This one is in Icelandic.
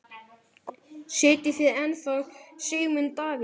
Styðjið þið ennþá Sigmund Davíð?